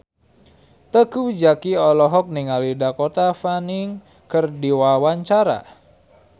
Teuku Zacky olohok ningali Dakota Fanning keur diwawancara